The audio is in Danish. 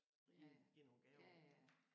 Give give nogle gaver